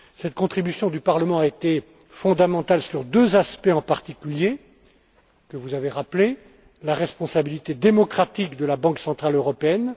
Cette contribution du Parlement a été fondamentale sous deux aspects, en particulier, que vous avez rappelés le premier, la responsabilité démocratique de la Banque centrale européenne